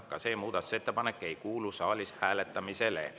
Ka see muudatusettepanek ei kuulu saalis hääletamisele.